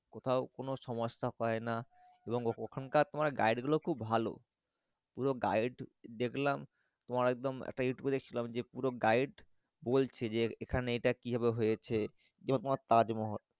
কোথায় কোনো সমস্যা পাই না এবং ওখানকার তোমার Guide গুলো খুব ভালো পুরো Guide দেখলাম তোমার একদম একটা Youtub এ দেখছিলাম পুরো Guide বলছে যে এখানে এটা কি ভাবে হয়রছে যেটা তোমার তাজ মহল।